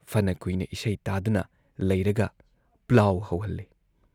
ꯐꯅ ꯀꯨꯏꯅ ꯏꯁꯩ ꯇꯥꯗꯨꯅ ꯂꯩꯔꯒ ꯄ꯭ꯂꯥꯎ ꯍꯧꯍꯜꯂꯤ꯫